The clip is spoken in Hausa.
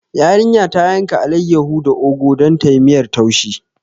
Yarinya ta yanka alaiyahu da ogu don tayi miyar taushi